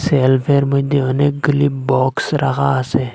সেলফের মইধ্যে অনেকগুলি বক্স রাখা আসে।